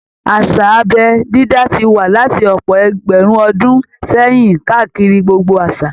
Àṣà abẹ́ dídá ti wà láti ọ̀pọ̀ ẹgbẹ̀rún ọdún sẹ́yìn káàkiri gbogbo àṣà